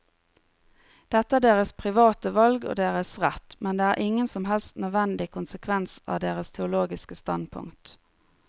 Dette er deres private valg og deres rett, men det er ingen som helst nødvendig konsekvens av deres teologiske standpunkt.